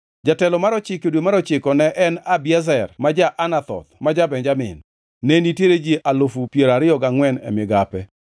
Jatelo mar ochiko, e dwe mar ochiko ne en Abiezer ja-Anathoth ma ja-Benjamin. Ne nitiere ji alufu piero ariyo gangʼwen (24,000) e migape.